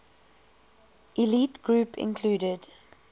elite group included